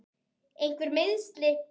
Einhver meiðsli?